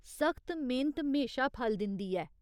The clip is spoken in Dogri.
सख्त मेह्‌नत म्हेशा फल दिंदी ऐ।